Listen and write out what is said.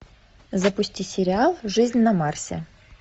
запусти сериал жизнь на марсе